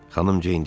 Xanım Ceyn dilləndi.